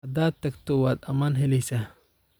Hada tagto waad aman heleysa.